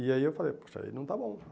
E aí eu falei, poxa, aí não está bom.